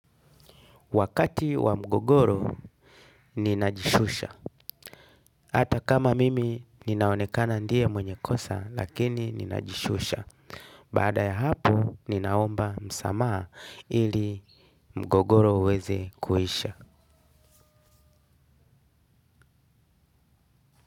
Wakati wa mgogoro, ninajishusha. Hata kama mimi, ninaonekana ndiye mwenye kosa, lakini ninajishusha. Baada ya hapo, ninaomba msamaha ili mgogoro uweze kuisha.